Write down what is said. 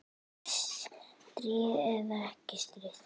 Stríð eða ekki stríð.